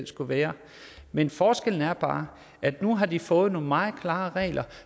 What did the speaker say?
skulle være men forskellen er bare at nu har de fået nogle meget klare regler